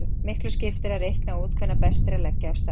Miklu skiptir að reikna út hvenær best er að leggja af stað.